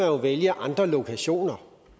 jo vælge andre lokationer